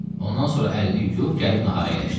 Ondan sonra əlini yuyub gəlib nahara əyləşdi.